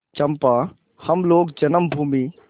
चंपा हम लोग जन्मभूमि